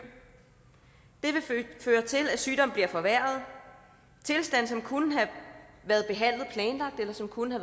det vil føre til at sygdommen bliver forværret tilstande som kunne have været behandlet planlagt eller som kunne